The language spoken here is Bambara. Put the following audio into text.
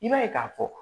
I b'a ye k'a fɔ